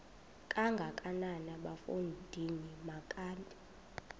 kangakanana bafondini makabe